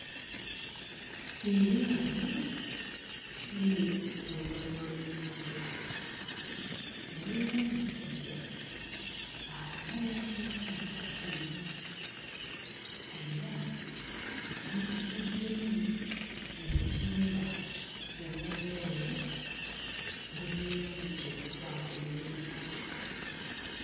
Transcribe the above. Eryato liri ku lubalama lw'ennyanja waliwo omusajja alina by'ateeka mu lyato lino era lijjuddemu obutimba obw'enjawulo bwe beeyambisa okukwata ebyennyanja.